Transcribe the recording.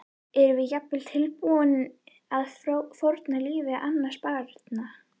Erum við jafnvel tilbúin að fórna lífi annarra barna?